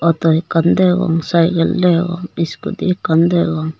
auto ekkan degong cycle degong scooty ekkan degong.